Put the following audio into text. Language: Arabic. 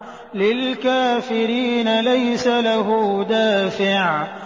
لِّلْكَافِرِينَ لَيْسَ لَهُ دَافِعٌ